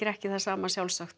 ekki það sama sjálfsagt